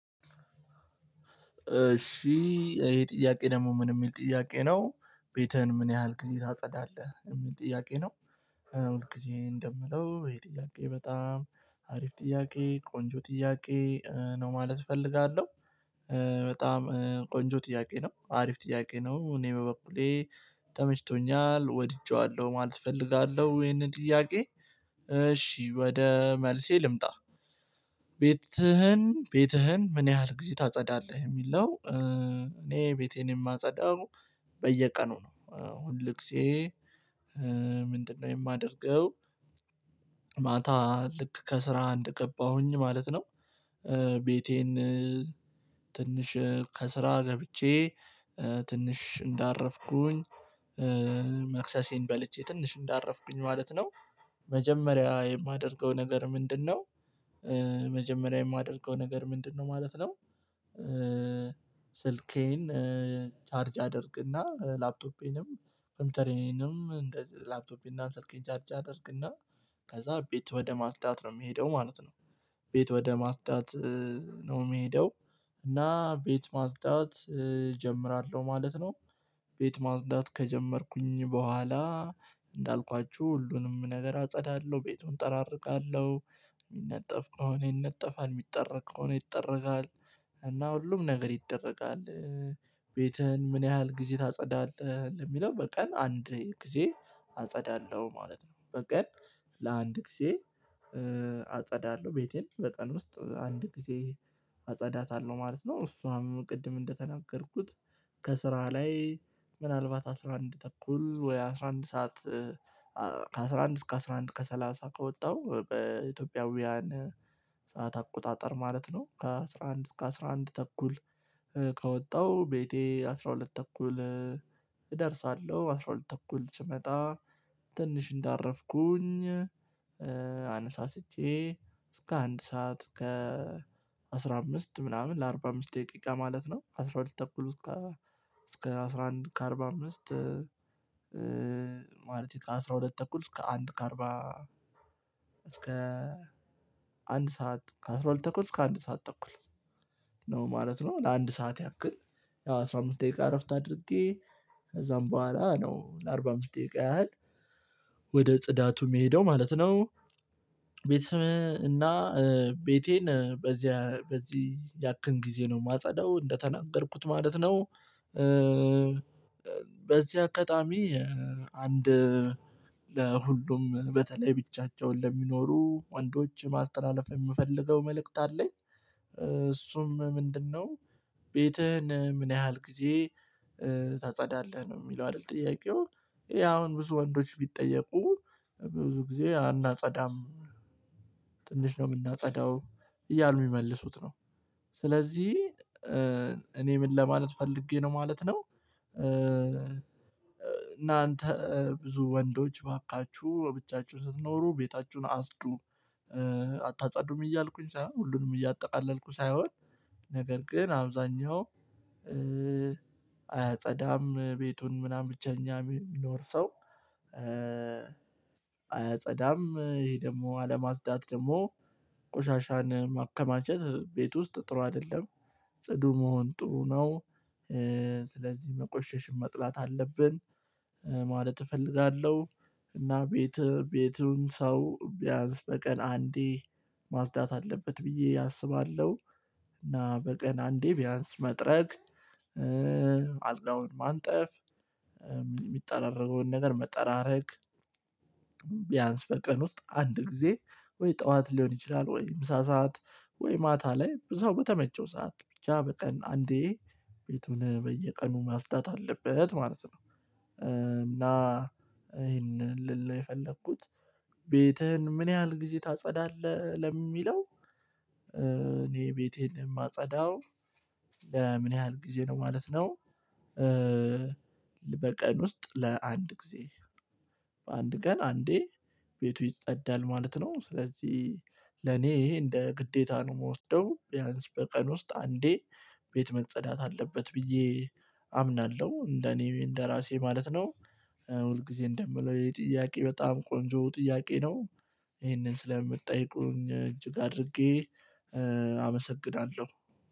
እሺ ይሄ ጥያቄ ደግሞ ምን የሚል ጥያቄ ነው? ቤትህን ምን ያህል ጊዜ ታጸዳለህ የሚል ጥያቄ ነው። ሁል ጊዜ እንደምለው ይሄ ጥያቄ በጣም አሪፍ ጥያቄ ቆንጆ ጥያቄ ነው ማለት እፈልጋለው። በጣም ቆንጆ ጥያቄ ነው አሪፍ ጥያቄ ነው እኔ በበኩሌ ተመችቶኛል ወድጄዋለሁ ማለት እፈልጋለው። ይሄንን ጥያቄ እሺ ወደ መልሴ ልምጣ ቤትህን ቤትህን ምን ያህል ጊዜ ታጸዳለህ የሚለው እኔ ቤቴን የማጸዳው በየቀኑ ነው ሁል ጊዜ ምንድነው የማደርገው ማታ ልክ ከስራ አንደ ገባሁኝ ማለት ነው ቤቴን ትንሽ ከስራ ገብቼ ትንሽ እንዳረፍኩኝ መክሰሴን በልቼ ትንሽ እንዳረፍኩኝ ማለት ነው መጀመሪያ የማደርገው ነገር ምንድነው መጀመሪያ የማደርገው ነገር ምንድነው ማለት ነው? ስልኬን ቻርጅ አድርግና ላፕቶፔንም ፈልተሬንም እንደዚ ላፕቶፔን እና ስልኬን ቻርጅ አድርግና ከዛ ቤት ወደ ማጽዳት ነው የምሄደው ማለት ነው። ቤት ወደ ማጽዳት ነው የሚሄደው እና ቤት ማጽዳት እጀምራለው ማለት ነው። ቤት ማጽዳት ከጀመርኩኝ ቦኋላ እንዳልኳችሁ ሁሉንም ነገር አጸዳለሁ ቤቱን እጠራሪጋለው የሚነጠፍ ከሆነ ይነጠፋል የሚጠረግ ከሆነ ይጠረጋል እና ሁሉም ነገር ይደረጋል። ቤትህን ምን ያህል ጊዜ ታጸዳለህ ለሚለው በቀን አንድ ጊዜ አጸዳለሁ ማለት ነው በቀን ለአንድ ጊዜ አጸዳለው ቤቴን በቀን ውስጥ አንድ ጊዜ አጸዳታለሁ ማለት ነው። እሷም ቅድም እንደተናገርኩት ከስራ ላይ ምናልባት አስራ አንድ ተኩል ወይ አስራ አንድ ሰዓት ከአስራ አንድ እስከ አስራ አንድ ከሰላሳ ከወጣው በኢትዮጵያውያን ሰዓት አቆጣጠር ማለት ነው ከአስራ አንድ ከአስራ አንድ ተኩል ከወጣሁ ቤቴ አስራ ሁለት ተኩል እደርሳለው። አስራ ሁለት ተኩል ስመጣ ትንሽ እንዳረፍኩኝ አነሳስቼ እስከ አንድ ሰዓት ከ አስራ አምስት ምናምን ለአርባ አምስት ደቂቃ ማለት ነው አስራ ሁለት ተኩሉት ከ እስከ አስራ አንድ ከአርባ አምስት ማለት እንችላለን አስራ ሁለት ተኩል እስከ አንድ ከአርባ እስከ አንድ ሰዓት ከአስራ ሁለት ተኩል እስከ አንድ ሰዓት ተኩል ነው ማለት ነው ለአንድ ሰዓት ያክል ያው አስራ አምስት ደቂቃ እረፍት አድርጌ ከዛም ቦኋላ ነው ለአርባ አምስት ደቂቃ ያህል ወደ ጽዳቱ የሚሄደው ማለት ነው። ቤተሰብ እና ቤቴን በዚህ በዚህ ያክል ጊዜ ነው የማጸዳው እንደተናገርኩት ማለት ነው። በዚህ አጋጣሚ አንድ ለሁሉም በተለይ ብቻቸውን ለሚኖሩ ወንዶች ማስተላለፍ የምፈልገው መልእክት አለኝ እሱም ምንድነው? ቤትህን ምን ያህል ጊዜ ታጸዳለህ ነው የሚለው አይደል ጥያቄው ይሄ አሁን ብዙ ወንዶች ቢጠየቁ ብዙ ጊዜ አናጸዳም ትንሽ ነው የምናጸዳው እያሉ የሚመልሱት ነው። ስለዚህ እኔ ምን ለማለት ፈልጌ ነው ማለት ነው እናንተ ብዙ ወንዶች እባካችሁ ብቻችሁን ስትኖሩ ቤታችሁን አፅዱ አታጸዱም እያልኩኝ ሳይሆን ሁሉንም እያጠቃለልኩ ሳይሆን ነገር ግን አብዛኛው አያጸዳም ቤቱን ምናምን ብቸኛ የሚኖር ሰው አያጸዳም ይሄ ደግሞ አለማፅዳት ደግሞ ቆሻሻን ማከማቸት ቤት ውስጥ ጥሩ አይደለም። ጽዱ መሆን ጥሩ ነው። ስለዚህ መቆሸሽን መጥላት አለብን ማለት እፈልጋለሁ እና ቤት ቤቱን ሰው ቢያንስ በቀን አንዴ ማጽዳት አለበት ብዬ አስባለው። እና በቀን አንዴ ቢያንስ መጥረግ አልጋውን ማንጠፍ የሚጠራረገውን ነገር መጠራረግ ቢያንስ በቀን ውስጥ አንድ ጊዜ ወይ ጡዋት ሊሆን ይችላል ወይ ምሳ ሰዓት ወይ ማታ ላይ ብዙዎቹ በተመቸው ሰዓት ብቻ በቀን አንዴ ቤቱን በየቀኑ ማጽዳት አለበት ማለት ነው እና ይሄንን ልል የፈለኩት ቤትህን ምን ያህል ጊዜ ታጸዳለህ ለሚለው እኔ ቤቴን የማጸዳው ለምን ያህል ጊዜ ነው ማለት ነው በቀን ውስጥ ለአንድ ጊዜ በአንድ ቀን አንዴ ቤቱ ይጸዳል ማለት ነው ስለዚህ ለኔ ይሄ እንደ ግዴታ ነው የምወስደው ቢያንስ በቀን ውስጥ አንዴ ቤት መጸዳት አለበት ብዬ አምናለሁ እንደኔ እንደራሴ ማለት ነው። ሁል ጊዜ እንደምለው ይሄ ጥያቄ በጣም ቆንጆ ጥያቄ ነው ይሄንን ስለምትጠይቁኝ እጅግ አድርጌ አመሰግናለው።